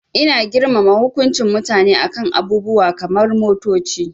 Ina girmama hukuncin mutane a kan abubuwa kamar motoci.